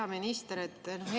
Hea minister!